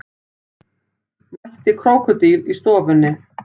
Mætti krókódíl í stofunni